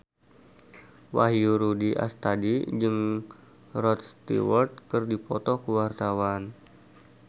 Wahyu Rudi Astadi jeung Rod Stewart keur dipoto ku wartawan